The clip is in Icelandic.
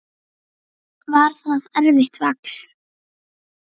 Var það erfitt vall?